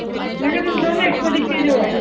ਮੈਂ ਕਿਹਾ ਤੁਸੀਂ ਦੋਨੇ ਇੱਕੋ ਜਿੱਕੇ ਜੋ ਹੈ।